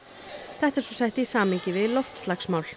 þetta er svo sett í samhengi við